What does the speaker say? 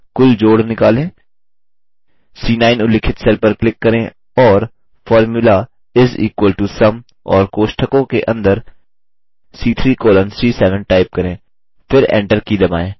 c9 उल्लिखित cell पर click करें और formula is equal to sum और कोष्ठकों के अंदर c3 colon c7 टाइप करें